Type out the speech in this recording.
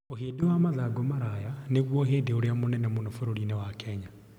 Ũhĩndĩ wa mathangũ maraya nĩguo ũhĩndĩ ũrĩa mũnene mũno bũrũri-inĩ wa Kenya.